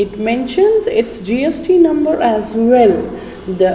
It mentions its G_S_T number as well the --